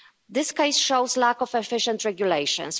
This case shows a lack of efficient regulations.